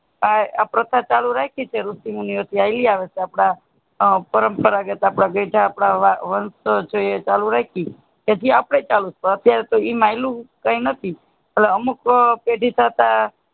આ પ્રથા ચાલુ રાખી છે ઋષિ મુનિઓ હાઈલી આવે છે આપણા પરમ પરાગત આપણા ગઈઢા આપણા વંશ છે ચાલુ રાખી જી અપને ચાલુ અતિયાર તો એમાં એલુ કાય નથી અમુક પડી સાથે